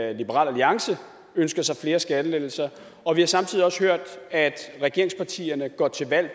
alliance ønsker sig flere skattelettelser og vi har samtidig også hørt at regeringspartierne går til valg